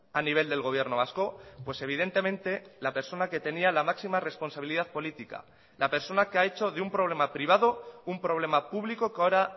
a nivel del gobierno vasco pues evidentemente la persona que tenía la máxima responsabilidad política la persona que ha hecho de un problema privado un problema público que ahora